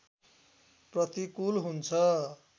प्रतिकूल हुन्छ